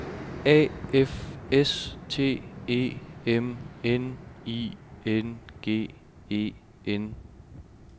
A F S T E M N I N G E N